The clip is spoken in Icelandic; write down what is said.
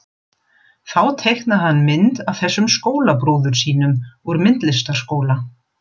Þá teiknaði hann mynd af þessum skólabróður sínum úr myndlistarskóla.